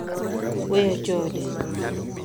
Weyo chode.